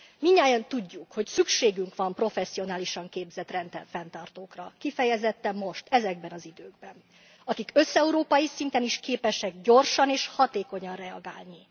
Mindannyian tudjuk, hogy szükségünk van professzionálisan képzett rendfenntartókra, kifejezetten most, ezekben az időkben, akik összeurópai szinten is képesek gyorsan és hatékonyan reagálni.